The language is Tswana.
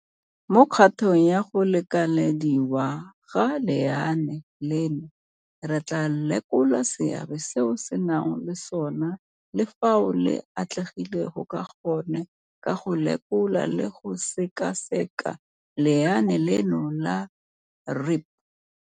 Mo kgatong ya go lekelediwa ga lenaane leno, re tla lekola seabe seo le nang le sona le fao le atlegileng ka gone ka go lekola le go sekaseka lenaane leno la REAP.